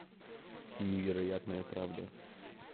невероятная правда